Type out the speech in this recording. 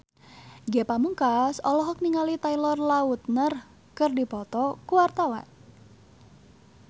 Ge Pamungkas olohok ningali Taylor Lautner keur diwawancara